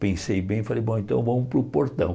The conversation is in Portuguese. Pensei bem e falei, bom, então vamos para o portão.